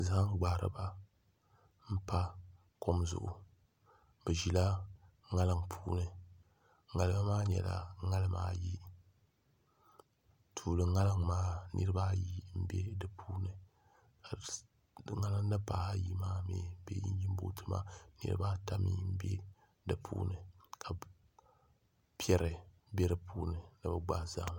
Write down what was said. Zaham gbahariba n pa kom zuɣu bi ʒila ŋarim puuni ŋarima maa nyɛla ŋarima ayi tuuli ŋarim maa niraba ayi n bɛ di puuni ŋarim din pahi ayi maa bee injin booti maa niraba ata mii n bɛ di puuni ka piɛri bɛ di puuni ni bi gbahi zahama